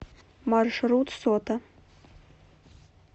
маршрут сота